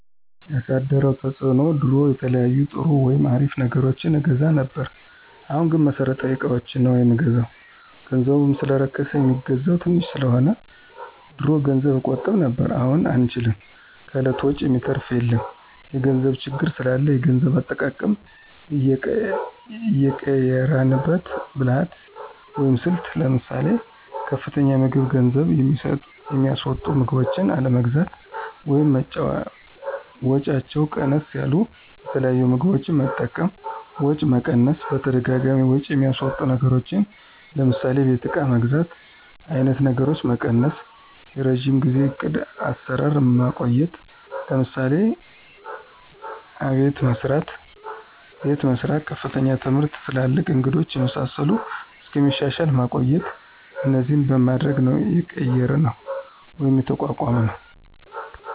ያሳደረው ተፅዕኖ ድሮ የተለያዩ ጥሩ ወይም አሪፍ ነገሮችን አገዛ ነብር አሁን ግንቦት መሠረታዊ እቃዎችን ነው ምንገዛው ገንዘቡ ሰለረከስ የሚገዛው ተንሽ ሰለሆነ። ድሮ ገንዘብ እቆጥብ ነብር አሁን አንችልም ከእለት ወጭ የሚተራፍ የለም የገንዘብ ችግር ስላላ የገንዘብ አጠቃቀማችን የቀየራንበት ብልህት ወይም ስልት ለምሳሌ፦ ከፍተኛ የምግብ ገንዝብ የሚስወጡ ምግቦችን አለመግዛት ወይም ወጫቸው ቀነስ ያሉት የተለያዩ ምግቦች መጠቀም፣ ወጪ መቀነስ በተደጋጋሚ ወጭ የሚያስወጡ ነገሮችን ለምሳሌ የቤት እቃ መግዛት አይነት ነገሮችን መቀነሰ፣ የረጅም ጊዜው ዕቅድ አሰራር ማቆየት ለምሳሌ፦ አቤት መሰራት፣ ከፍተኛ ትምህርት ትላልቅ እንግዶች የመሳሰሉት እስከሚሻሻል ማቆየት እነዚህን በማድረግ ነው የቀየራነው ወይም የተቋቋምነውደ